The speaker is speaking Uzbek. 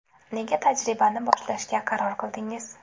Nega tajribani boshlashga qaror qildingiz?